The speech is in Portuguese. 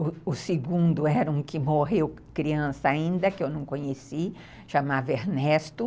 O segundo era um que morreu criança ainda, que eu não conheci, chamava Ernesto.